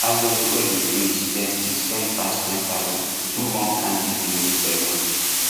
as dem do wedding finish dem still spend pass ten thousand do one kind big naming ceremony